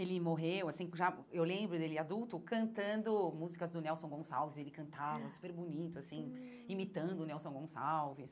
Ele morreu assim, já eu lembro dele adulto cantando músicas do Nelson Gonçalves, ele cantava super bonito assim, imitando o Nelson Gonçalves.